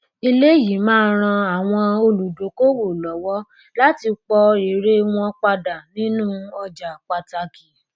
eléyìí máa ran àwọn olùdókòwò lọwọ láti pọ èrè wọn pàápàá nínú ọjà pàtàkì